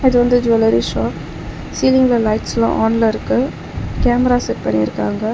இது வந்து jewellery shop சீலிங்ல லைட்ஸ்லா ஆன்ல இருக்கு கேமரா செட் பண்ணிருக்காங்க.